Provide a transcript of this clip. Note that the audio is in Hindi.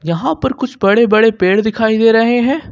वहां पर कुछ बड़े बड़े पेड़ दिखाई दे रहे हैं।